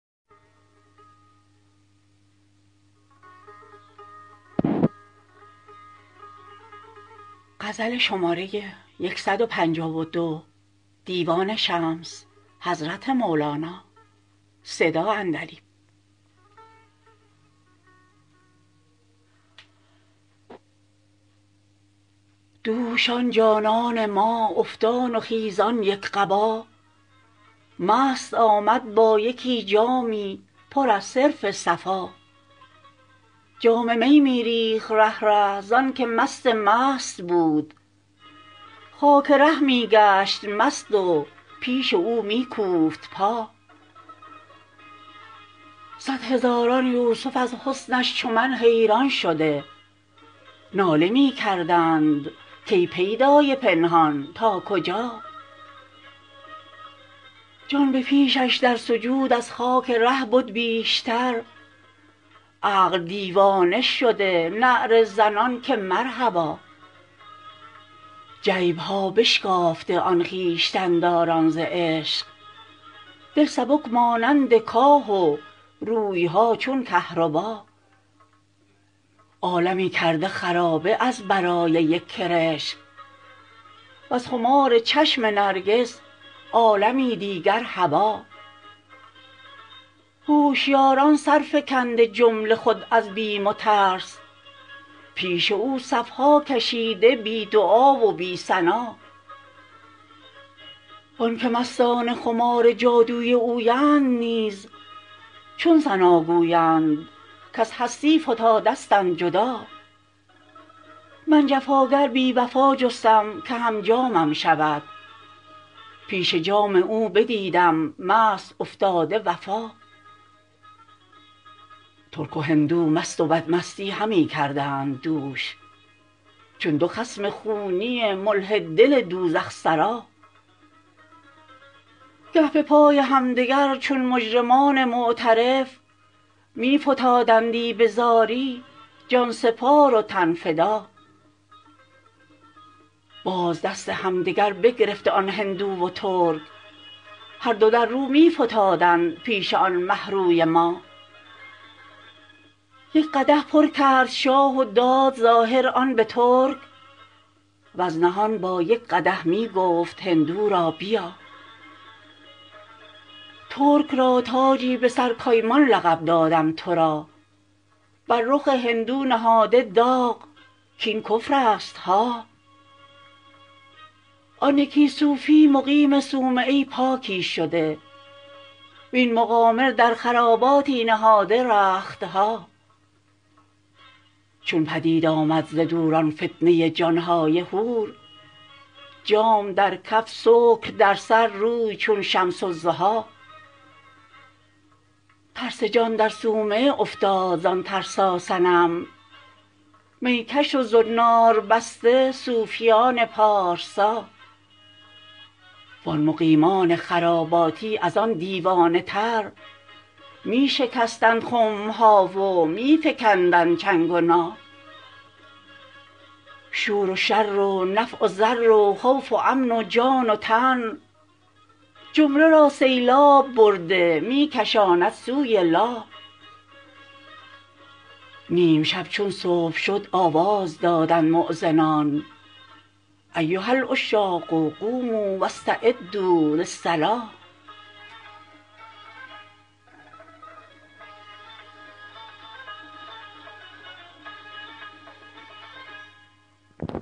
دوش آن جانان ما افتان و خیزان یک قبا مست آمد با یکی جامی پر از صرف صفا جام می می ریخت ره ره زانک مست مست بود خاک ره می گشت مست و پیش او می کوفت پا صد هزاران یوسف از حسنش چو من حیران شده ناله می کردند کی پیدای پنهان تا کجا جان به پیشش در سجود از خاک ره بد بیشتر عقل دیوانه شده نعره زنان که مرحبا جیب ها بشکافته آن خویشتن داران ز عشق دل سبک مانند کاه و روی ها چون کهربا عالمی کرده خرابه از برای یک کرشم وز خمار چشم نرگس عالمی دیگر هبا هوشیاران سر فکنده جمله خود از بیم و ترس پیش او صف ها کشیده بی دعا و بی ثنا و آنک مستان خمار جادوی اویند نیز چون ثنا گویند کز هستی فتادستند جدا من جفاگر بی وفا جستم که هم جامم شود پیش جام او بدیدم مست افتاده وفا ترک و هندو مست و بدمستی همی کردند دوش چون دو خصم خونی ملحد دل دوزخ سزا گه به پای همدگر چون مجرمان معترف می فتادندی به زاری جان سپار و تن فدا باز دست همدگر بگرفته آن هندو و ترک هر دو در رو می فتادند پیش آن مه روی ما یک قدح پر کرد شاه و داد ظاهر آن به ترک وز نهان با یک قدح می گفت هندو را بیا ترک را تاجی به سر کایمان لقب دادم تو را بر رخ هندو نهاده داغ کاین کفرستها آن یکی صوفی مقیم صومعه پاکی شده وین مقامر در خراباتی نهاده رخت ها چون پدید آمد ز دور آن فتنه جان های حور جام در کف سکر در سر روی چون شمس الضحی ترس جان در صومعه افتاد زان ترساصنم می کش و زنار بسته صوفیان پارسا وان مقیمان خراباتی از آن دیوانه تر می شکستند خم ها و می فکندند چنگ و نا شور و شر و نفع و ضر و خوف و امن و جان و تن جمله را سیلاب برده می کشاند سوی لا نیم شب چون صبح شد آواز دادند مؤذنان ایها العشاق قوموا و استعدوا للصلا